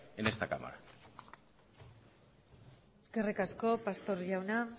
en esta cámara eskerrik asko pastor jauna